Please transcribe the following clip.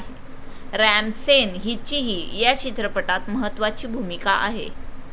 RAM Sen हिचीही या चित्रपटात महत्वाची भूमिका आहे.